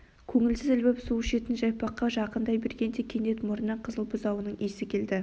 көңілсіз ілбіп су ішетін жайпаққа жақындай бергенде кенет мұрнына қызыл бұзауының иісі келді